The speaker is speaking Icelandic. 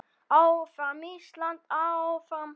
Áfram Ísland, áfram.